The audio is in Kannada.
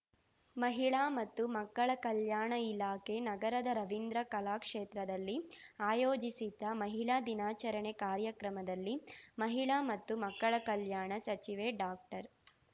ಮಹಿಳಾ ಮತ್ತು ಮಕ್ಕಳ ಕಲ್ಯಾಣ ಇಲಾಖೆ ನಗರದ ರವೀಂದ್ರ ಕಲಾಕ್ಷೇತ್ರದಲ್ಲಿ ಆಯೋಜಿಸಿದ್ದ ಮಹಿಳಾ ದಿನಾಚರಣೆ ಕಾರ್ಯಕ್ರಮದಲ್ಲಿ ಮಹಿಳಾ ಮತ್ತು ಮಕ್ಕಳ ಕಲ್ಯಾಣ ಸಚಿವೆ ಡಾಕ್ಟರ್